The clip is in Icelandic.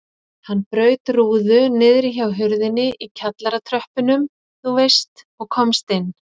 Hann braut rúðu niðri hjá hurðinni í kjallaratröppunum þú veist og komst inn.